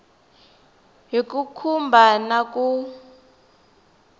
hi ku khumba na ku